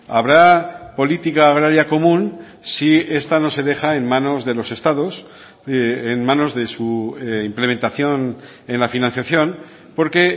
habrá política agraria común si esta no se deja en manos de los estados en manos de su implementación en la financiación porque